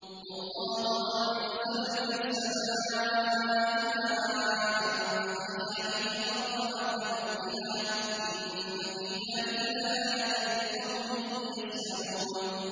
وَاللَّهُ أَنزَلَ مِنَ السَّمَاءِ مَاءً فَأَحْيَا بِهِ الْأَرْضَ بَعْدَ مَوْتِهَا ۚ إِنَّ فِي ذَٰلِكَ لَآيَةً لِّقَوْمٍ يَسْمَعُونَ